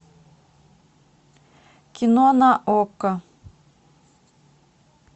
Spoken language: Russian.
кино на окко